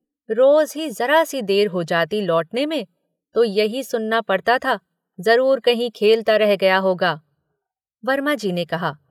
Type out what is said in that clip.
रोज ही ज़रा सी देर हो जाती लौटने में, तो यही सुनना पड़ता था, जरूर कहीं खेलता रह गया होगा, वर्माजी ने कहा।